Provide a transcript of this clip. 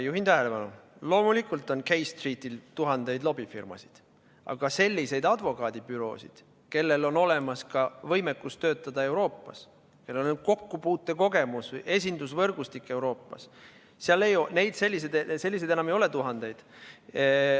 Juhin tähelepanu, et loomulikult on K Streetil tuhandeid lobifirmasid, aga selliseid advokaadibüroosid, kellel on olemas ka võimekus töötada Euroopas, kellel on kokkupuutekogemus, esindusvõrgustik Euroopas, selliseid ei ole tuhandeid.